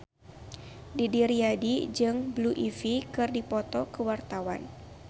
Didi Riyadi jeung Blue Ivy keur dipoto ku wartawan